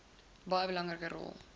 baie belangrike rol